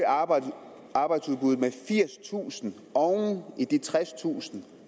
arbejdsudbuddet med firstusind oven i de tredstusind